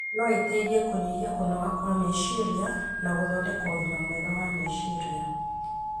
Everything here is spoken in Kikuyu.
no iteithie kũnyihia kũnoga kwa meciria na gũthondeka ũgima mwega wa meciria.